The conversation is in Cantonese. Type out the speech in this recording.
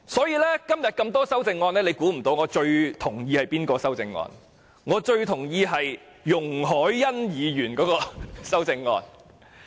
在今天眾多修正案中，大家或許猜不到我最同意的是哪項修正案。